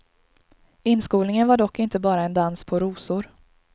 Inskolningen var dock inte bara en dans på rosor.